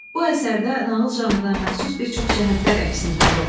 Bu əsərdə nağıl janrına məxsus bir çox cəhətlər əksini tapıb.